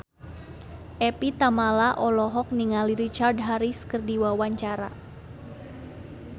Evie Tamala olohok ningali Richard Harris keur diwawancara